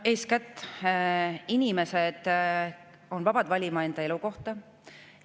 Eeskätt, inimesed on vabad valima enda elukohta.